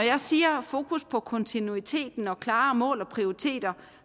jeg siger fokus på kontinuiteten og klare mål og prioriteter